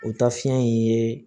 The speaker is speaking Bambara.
O taa fiɲɛ in ye